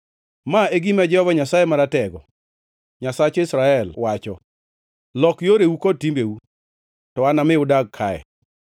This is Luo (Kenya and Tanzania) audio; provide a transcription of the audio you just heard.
Ma e gima Jehova Nyasaye Maratego, Nyasach jo-Israel, wacho: Lok yoreu kod timbeu, to anami udagi kaye.